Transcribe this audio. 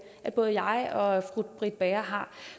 at både jeg og fru britt bager har